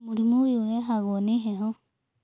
Mũrimũ oyũ ũrehagwo nĩ heho.